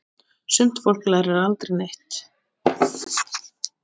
Sumt fólk lærir aldrei neitt.